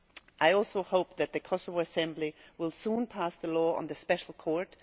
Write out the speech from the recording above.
I also hope that the Kosovo Assembly will soon pass the law on the special court.